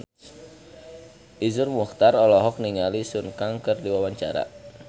Iszur Muchtar olohok ningali Sun Kang keur diwawancara